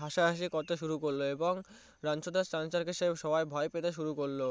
হাসা হাসি করতে শুরু করলো এবং রানছর দাস ছাঁসিগার কে সবাই ভয়ে পেতে শুরু করলো